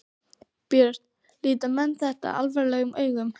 Björn: Líta menn þetta alvarlegum augum?